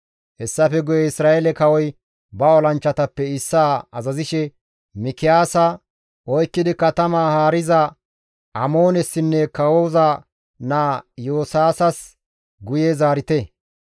Hessafe guye Isra7eele kawoy ba olanchchatappe issaa azazishe, «Mikiyaasa oykkidi katamaa haariza Amoonessinne kawoza naa Iyo7aasas guye zaarite.